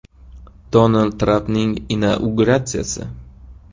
Donald Trampning inauguratsiyasi.